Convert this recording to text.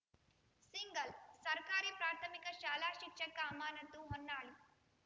single ಸರ್ಕಾರಿ ಪ್ರಾಥಮಿಕ ಶಾಲಾ ಶಿಕ್ಷಕ ಅಮಾನತು ಹೊನ್ನಾಳಿ